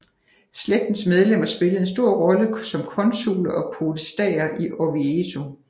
Slægtens medlemmer spillede en stor rolle som konsuler og podestaer i Orvieto